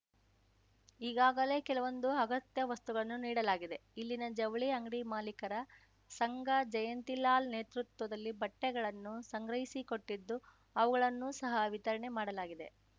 ಈಗಾಗಲೇ ಕೆಲವೊಂದು ಅಗತ್ಯ ವಸ್ತುಗಳನ್ನು ನೀಡಲಾಗಿದೆ ಇಲ್ಲಿನ ಜವಳಿ ಅಂಗಡಿ ಮಾಲೀಕರ ಸಂಘ ಜಯಂತಿಲಾಲ್‌ ನೇತೃತ್ವದಲ್ಲಿ ಬಟ್ಟೆಗಳನ್ನು ಸಂಗ್ರಹಿಸಿಕೊಟ್ಟಿದ್ದು ಅವುಗಳನ್ನು ಸಹ ವಿತರಣೆ ಮಾಡಲಾಗಿದೆ